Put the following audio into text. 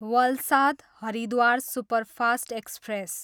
Valsad, Haridwar superfast express